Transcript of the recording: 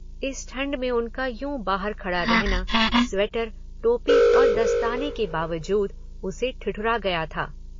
इस ठंड में उनका यू बाहर खड़ा रहना, स्वेटर, टोपी और दस्ताने के बावजूद उसे ठिठुरा गया था।